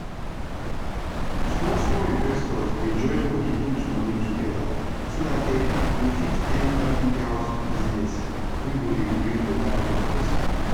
small small investors dey join bodi put moni togeda so that dem go fit enter big house business wey go dey bring beta profit